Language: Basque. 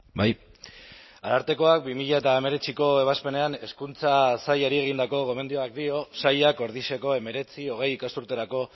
bai arartekoak bi mila hemeretziko ebazpenean hezkuntza sailari egindako gomendioak dio sailak ordiziako hemeretzi hogei ikasturterako